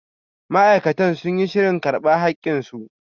Ma'aikata sun yi shirin karba hakin su.